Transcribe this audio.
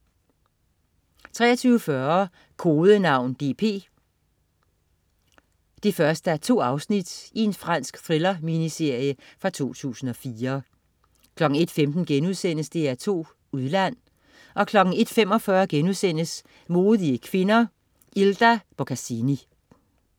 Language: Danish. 23.40 Kodenavn DP 1:2. Fransk thriller-miniserie fra 2004 01.15 DR2 Udland* 01.45 Modige kvinder: Ilda Boccassini*